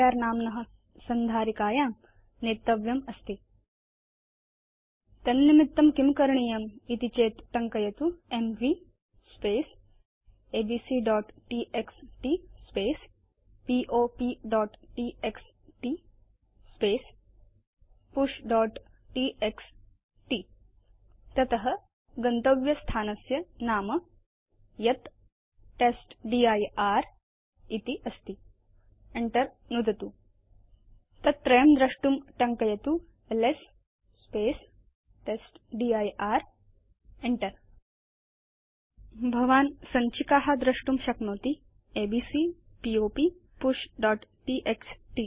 नाम्न संधारिकायां नेतव्यमस्ति तन्निमित्तं किं करणीयम् इति चेत् टङ्कयतु एमवी abcटीएक्सटी popटीएक्सटी pushटीएक्सटी तत गन्तव्य स्थानस्य नाम यत् टेस्टदिर् इति अस्ति enter नुदतु च तत् त्रयं द्रष्टुं टङ्कयतु एलएस टेस्टदिर् enter नुदतु च भवान् सञ्चिका द्रष्टुं शक्नोति एबीसी पॉप pushटीएक्सटी